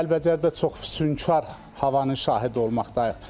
Kəlbəcərdə çox füsunkar havanın şahid olmaqdayıq.